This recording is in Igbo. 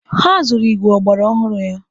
Ha zuru igwe ọgbara ọhụrụ ya.